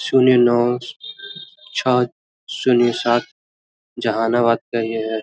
सुनिए नाव सात सुनिए सात जहानाबाद का ये है।